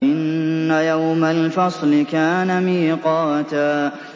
إِنَّ يَوْمَ الْفَصْلِ كَانَ مِيقَاتًا